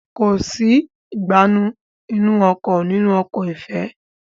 Kọ sí Ìgbánú inú ọkọ̀ nínú ọkọ̀ ifẹ